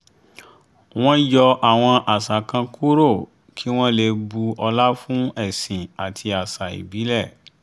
wọ́n yọ àwọn àṣà kan kúrò kí wọ́n lè bu ọlá fún ẹ̀sìn àti àṣà ìbílẹ̀